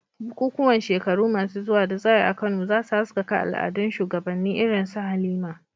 Bukukuwan shekaru masu zuwa da za a yi a Kano, za su haskaka al'adun shugabanni irin su Halima.